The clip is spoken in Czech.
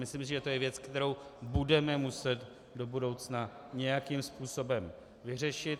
Myslím si, že to je věc, kterou budeme muset do budoucna nějakým způsobem vyřešit.